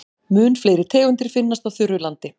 Mun fleiri tegundir finnast á þurru landi.